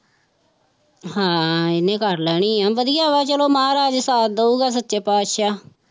ਹਾਂ ਇਹਨੇ ਕਰ ਲੈਣੀ ਆਂ ਵਧੀਆ ਵਾ ਚਲੋ ਮਹਾਰਾਜ ਸਾਥ ਦਊਗਾ ਸੱਚੇ ਪਾਤਿਸ਼ਾਹ